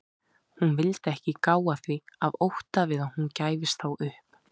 Hún vildi ekki gá að því af ótta við að hún gæfist þá upp.